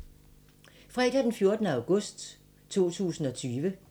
Fredag d. 14. august 2020